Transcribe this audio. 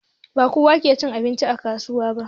Ba kowa ke cin abincin kasuwa ba